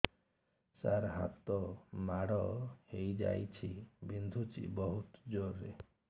ସାର ହାତ ମାଡ଼ ହେଇଯାଇଛି ବିନ୍ଧୁଛି ବହୁତ ଜୋରରେ